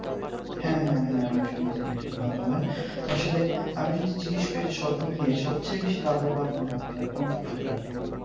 হ্যাঁ হ্যাঁ হ্যাঁ আমি শুনেছি বেশি ভালো হয় আসলে আমি যদি জিজ্ঞেস করি সবমিলিয়ে সবচেয়ে বেশি লাভবান হন আপনারা কোন ফসলটা করলে?